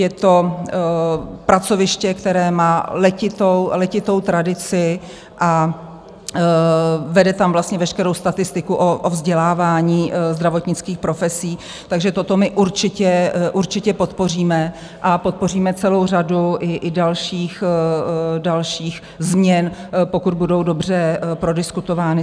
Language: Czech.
Je to pracoviště, které má letitou tradici, a vede tam vlastně veškerou statistiku o vzdělávání zdravotnických profesí, takže toto my určitě podpoříme a podpoříme celou řadu i dalších změn, pokud budou dobře prodiskutovány.